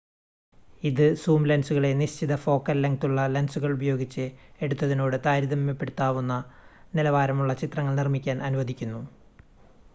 ഇത് സൂം ലെൻസുകളെ നിശ്ചിത ഫോക്കൽ ലെങ്‌തുള്ള ലെൻസുകൾ ഉപയോഗിച്ച് എടുത്തതിനോട് താരതമ്യപ്പെടുത്താവുന്ന നിലവാരമുള്ള ചിത്രങ്ങൾ നിർമ്മിക്കാൻ അനുവദിക്കുന്നു